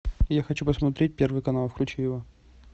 я хочу посмотреть первый канал включи его